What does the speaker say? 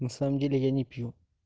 на самом деле я не пью